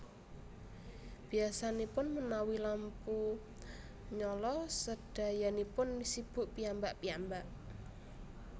Biyasanipun menawi lampu nyala sedayanipun sibuk piyambak piyambak